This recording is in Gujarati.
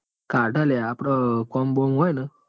કાઢ લ્યા આપડ કોમ બોમ હોય ન?